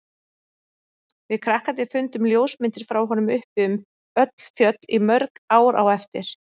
Við krakkarnir fundum ljósmyndir frá honum uppi um öll fjöll í mörg ár á eftir.